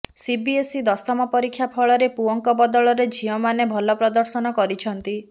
CBSE ଦଶମ ପରୀକ୍ଷା ଫଳରେ ପୁଅଙ୍କ ବଦଳରେ ଝିଅମାନେ ଭଲ ପ୍ରଦର୍ଶନ କରିଛନ୍ତି